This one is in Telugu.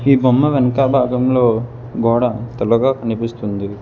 ఈ బొమ్మ వెనుక భాగంలో గోడ తెల్లగా కనిపిస్తుంది.